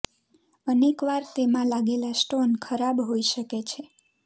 અનેક વાર તેમાં લાગેલા સ્ટોન ખરાબ હોઈ શકે છે